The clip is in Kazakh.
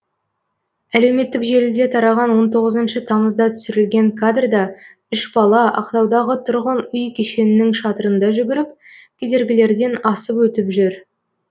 әлеуметтік желіде тараған он тоғызыншы тамызда түсірілген кадрда үш бала ақтаудағы тұрғын үй кешенінің шатырында жүгіріп кедергілерден асып өтіп жүр